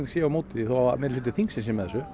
sé á móti því þó að meirihluti þingsins sé með þessu